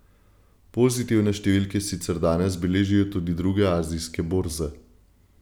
Pozitivne številke sicer danes beležijo tudi druge azijske borze.